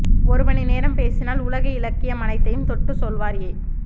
ஒரு மணி நேரம் பேசினால் உலக இலக்கியம் அனைத்தையும் தொட்டு செல்வார் எ